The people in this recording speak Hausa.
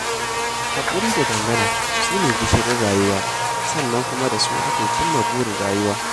Haƙuri da dangana su ne gishirin rayuwa sannan kuma da su ake cim ma burin rayuwa.